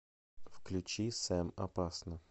включи сэм опасно